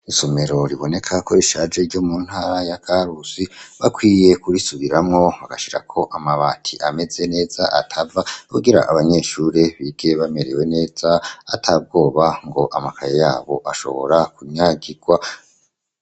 Isomero riboneka ko ishaje ryo muntara ya karusi bakwiye kurisubiramwo bagashirako amabati ameze neza atava kugira abanyeshuri bige bamerewe neza atabwoba ngo amakaye yabo ashobora kunyagirwa.